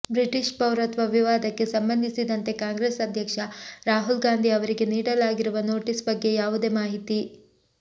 British ಪೌರತ್ವ ವಿವಾದಕ್ಕೆ ಸಂಬಂಧಿಸಿದಂತೆ ಕಾಂಗ್ರೆಸ್ ಅಧ್ಯಕ್ಷ ರಾಹುಲ್ ಗಾಂಧಿ ಅವರಿಗೆ ನೀಡಲಾಗಿರುವ ನೋಟಿಸ್ ಬಗ್ಗೆ ಯಾವುದೇ ಮಾಹಿತಿ